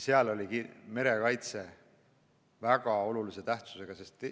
Seal oli merekaitse väga olulise tähtsusega.